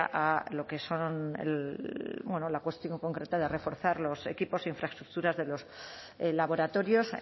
a lo que son bueno la cuestión concreta de reforzar los equipos e infraestructuras de los laboratorios